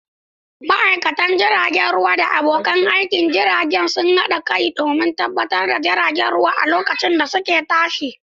Ma'aikatan jirgin ruwa da abokan aikin jirgin sun haɗa kai don tabbatar da jiragen ruwa a lokacin da suke tashi.